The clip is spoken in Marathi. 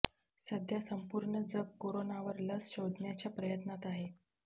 सध्या संपूर्ण जग कोरोनावर लस शोधण्याच्या प्रयत्नात आहे